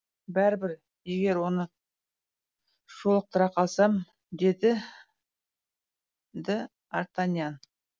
бәрібір егер оны жолықтыра қалсам деді д артаньян